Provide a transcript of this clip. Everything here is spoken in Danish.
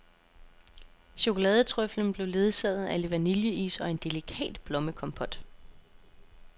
Chokoladetrøffelen blev ledsaget af lidt vanilleis og en delikat blommekompot.